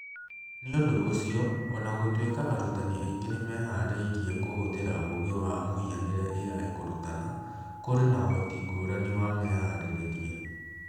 Nĩ ũndũ ũcio, o na gũtuĩka arutani aingĩ nĩ mehaarĩirie kũhũthĩra ũũgĩ wa mũhianĩre(AI) kũrutana, kũrĩ na ũhoti ngũrani wa meharĩrĩrie.